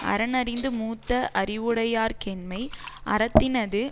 அறன் அறிந்து மூத்த அறிவுடையார் கேண்மை அறத்தினது